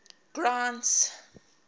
grant's